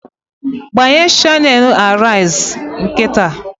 Gbanye shanelu Arise nkịta!